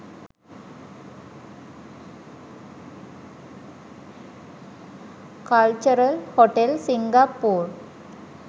cultural hotel singapore